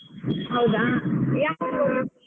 ಹೌದಾ ಯಾವೂರು.